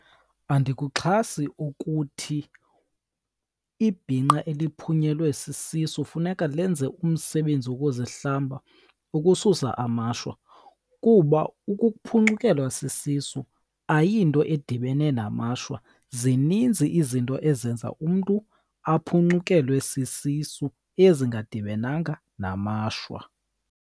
Andikuxhasi ukuthi ibhinqa eliphunyelwe sisisu funeka lenze umsebenzi wokuzihlamba ukususa amashwa, kuba ukuphuncukelwa sisisu ayinto edibene namashwa. Zininzi izinto ezenza umntu aphuncukelwe sisisu ezingadibenanga namashwa.